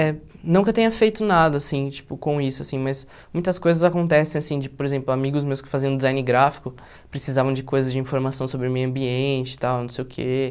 É, não que eu tenha feito nada, assim, tipo, com isso, assim, mas muitas coisas acontecem, assim, tipo, por exemplo, amigos meus que faziam design gráfico precisavam de coisas de informação sobre o meio ambiente, tal, não sei o quê.